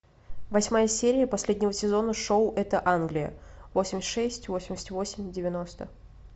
восьмая серия последнего сезона шоу это англия восемьдесят шесть восемьдесят восемь девяносто